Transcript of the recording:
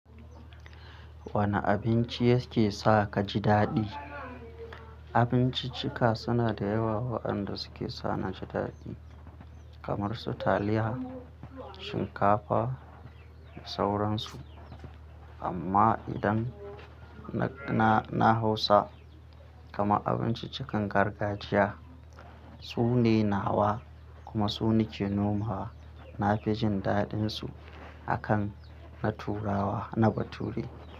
Wane abinci yake sa ka ji daɗi? Abinciccika suna da yawa waɗanda suke sa ni ji daɗi kamar su taliya, shinkafa da sauransu. Amma idan na, na, na hausa, kama abinciccikan gargajiya, su ne nawa kuma su ne ke nomawa na fijin daɗinsu a kan na turawa na bature.